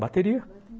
Bateria.